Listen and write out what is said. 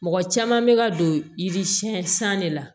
Mɔgɔ caman bɛ ka don yirisiyɛn san de la